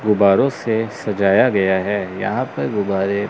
गुब्बारों से सजाया गया है यहां पे गुब्बारे--